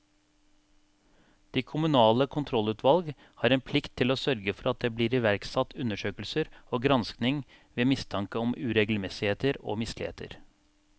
De kommunale kontrollutvalg har en plikt til å sørge for at det blir iverksatt undersøkelser og granskning ved mistanke om uregelmessigheter og misligheter.